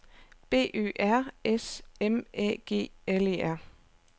B Ø R S M Æ G L E R